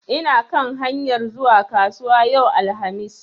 Ina kan hanyar zuwa kasuwa yau alhamis.